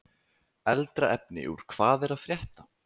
Eldra efni úr Hvað er að frétta?